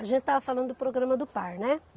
A gente estava falando do programa do Par, né?